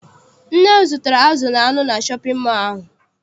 Nne m gotere azụ na anụ na shọpịn mọọ ahụ.